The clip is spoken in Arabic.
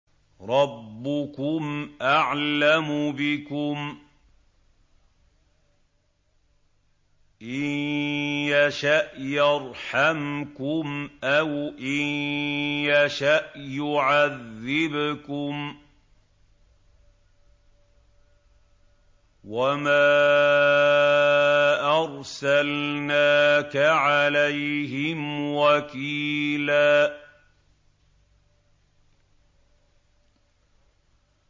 رَّبُّكُمْ أَعْلَمُ بِكُمْ ۖ إِن يَشَأْ يَرْحَمْكُمْ أَوْ إِن يَشَأْ يُعَذِّبْكُمْ ۚ وَمَا أَرْسَلْنَاكَ عَلَيْهِمْ وَكِيلًا